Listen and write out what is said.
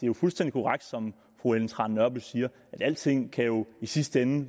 jo fuldstændig korrekt som fru ellen trane nørby siger at alting i sidste ende